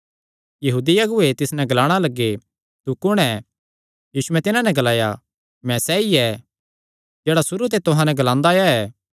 यहूदी अगुऐ तिस नैं ग्लाणा लग्गे तू कुण ऐ यीशुयैं तिन्हां नैं ग्लाया मैं सैई ऐ जेह्ड़ा सुरू ते तुहां नैं ग्लांदा आया ऐ